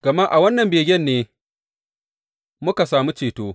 Gama a wannan begen ne muka sami ceto.